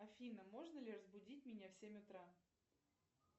афина можно ли разбудить меня в семь утра